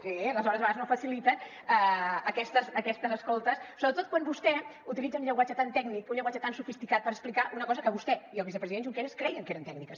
sí les hores a vegades no faciliten aquestes escoltes sobretot quan vostè utilitza un llenguatge tan tècnic un llenguatge tan sofisticat per explicar una cosa que vostè i el vicepresident junqueras creien que eren tècniques